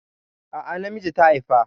A'a, namiji ta haifa.